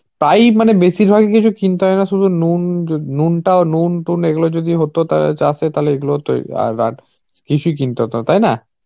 তাই মানে বেশিরভাগ কিছু কিনতে হয় না শুধু নুনটাও নুন টুন এগুলো যদি হতো তাহলে চাষে তাহলে এগুলো তো আর কিছুই কিনতে হতো তাই না.